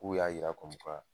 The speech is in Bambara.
K'u y'a yira kɔmi kuwa